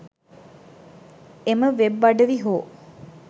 එම වෙබ් අඩවි හෝ